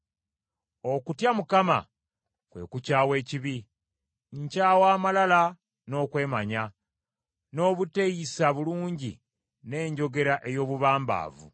Okutya Mukama kwe kukyawa ekibi; nkyawa amalala n’okwemanya, n’obuteeyisa bulungi n’enjogera ey’obubambaavu.